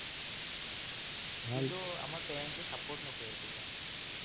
parents এ support নকৰে, সেইটো কাৰনে